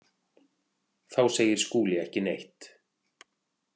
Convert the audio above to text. Þá segir Skúli ekki neitt.